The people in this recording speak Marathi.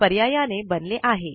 पर्यायाने बनले आहे